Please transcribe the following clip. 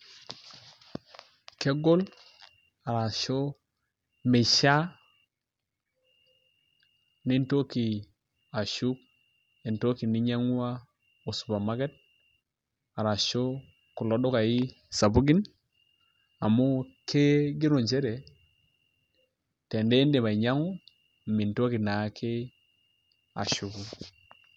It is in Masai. Kegol arashu meishiaa nintoki ashuk entoki ninyiang'ua osupermarket ashu kulo dukaai sapukin amu kigero nchere tenindip ainyiang'u mintoki naake ashuku.